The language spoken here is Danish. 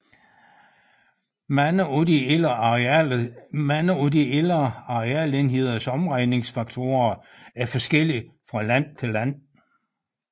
Mange af de ældre arealenheders omregningsfaktorer er forskellige fra land til land